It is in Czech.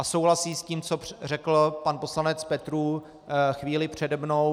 A souhlasím s tím, co řekl pan poslanec Petrů chvíli přede mnou.